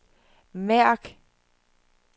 mærk